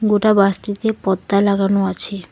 গোটা বাসটিতে পর্দা লাগানো আছে।